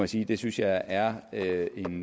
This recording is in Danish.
sige at jeg synes er er en